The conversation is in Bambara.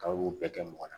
K'a y'o bɛɛ kɛ mɔgɔ la